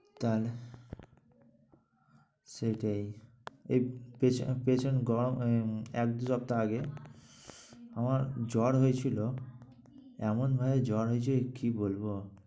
তাহলে? সেইটাই এক~ পেছন~ পেছন গরম উম এক দুই সপ্তাহ আগে আমার জ্বর হয়েছিল। এমনভাবে জ্বর হয়েছে কী বলব।